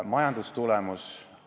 Majandustulemus?